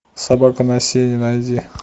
собака на сене найди